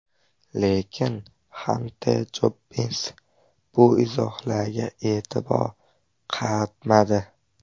Lekin Xanter Jobbins bu izohlarga e’tibor qaratmadi.